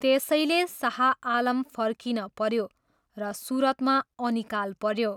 त्यसैले, शाह आलम फर्किन पऱ्यो र सुरतमा अनिकाल पऱ्यो।